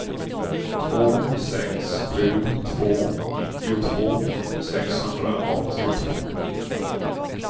två sex sju två nittiotvå sexhundraåttiotvå